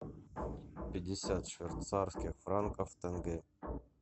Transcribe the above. пятьдесят швейцарских франков в тенге